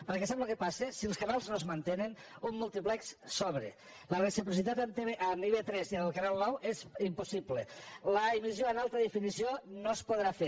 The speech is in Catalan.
perquè sap què passa si els canals no es mantenen un múltiplex sobra la reciprocitat amb ib3 i el canal nou és impossible l’emissió en alta definició no es podrà fer